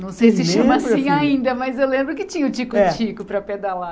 Não sei se chama assim ainda, mas eu lembro que tinha o tico-tico para pedalar.